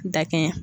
Dakɛɲɛ